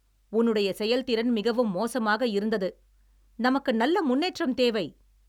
உன்னுடைய, செயல்திறன் மிகவும் மோசமாக இருந்தது, நமக்கு நல்ல முன்னேற்றம் தேவை.